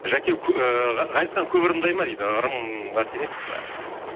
жәке ыыы ғазизхан көп ырымдай ма дейді ырымға сенесіз бе